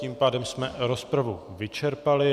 Tím pádem jsme rozpravu vyčerpali.